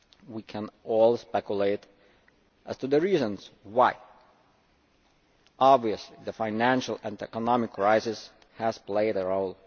We can only speculate as to the reasons why. Obviously the financial and economic crisis has played a role.